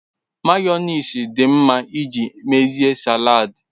mayonnaise di nma iji mezie salad